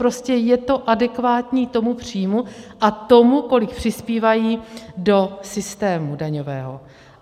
Prostě je to adekvátní tomu příjmu a tomu, kolik přispívají do systému daňového.